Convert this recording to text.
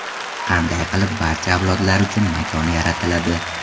Qanday qilib barcha avlodlar uchun makon yaratiladi?